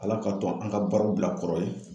Ala k'a to an ka baaraw bila kɔrɔ ye